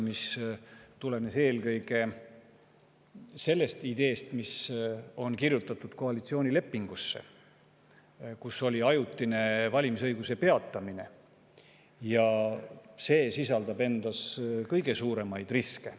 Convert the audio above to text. tuleneb eelkõige valimisõiguse ajutise peatamise ideest – see on kirjutatud ka koalitsioonilepingusse – ja see sisaldab endas kõige suuremaid riske.